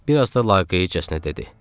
Bir az da laqeydcəsinə dedi.